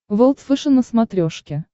волд фэшен на смотрешке